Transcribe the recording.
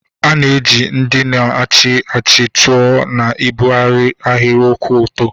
A na-eji ndị na-achị achị tụọ na ịbịaru ahịrị kwụ ọtọ.